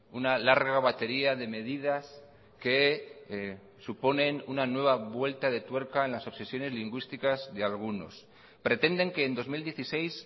una larga batería de medidas que suponen una nueva vuelta de tuerca en las obsesiones lingüísticas de algunos pretenden que en dos mil dieciséis